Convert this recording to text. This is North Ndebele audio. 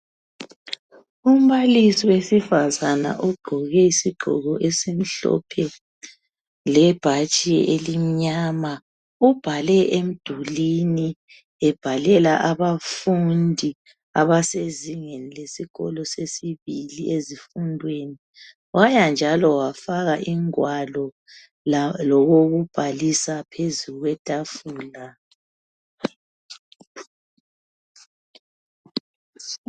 Umbalisi wesifazana ogqoke isigqoko esimhlophe lebhatshi elimnyama .Ubhale emdulini, ebhalela abafundi abasezingeni lesibili ezifundweni. Abasezingeni lesikolo sesibili ezifundweni, waya njalo wafaka ingwalo lokokubhalisa phezu kwethafula.